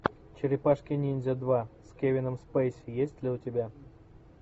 черепашки ниндзя два с кевином спейси есть ли у тебя